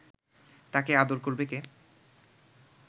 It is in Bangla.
তাকে আদর করবে কে